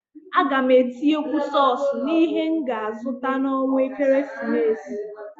A gam atinyekwu sọs n'ihe m ga azụta n'ọnwa ekeresimesi.